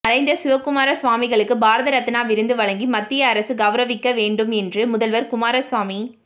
மறைந்த சிவக்குமார சுவாமிகளுக்கு பாரத ரத்னா விருது வழங்கி மத்திய அரசு கெளரவிக்க வேண்டும் என்று முதல்வர் குமாரசாமி